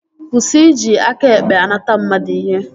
Kwụsị iji aka ekpe anata mmadụ ihe!